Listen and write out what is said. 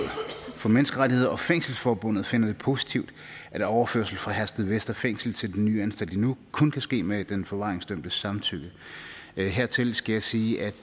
for menneskerettigheder og fængselsforbundet finder det positivt at overførsel fra herstedvester fængsel til den nye anstalt i nuuk kun kan ske med den forvaringsdømtes samtykke hertil skal jeg sige at